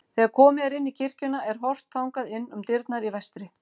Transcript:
Þegar komið er inn í kirkjuna er horft þangað inn um dyrnar í vestri.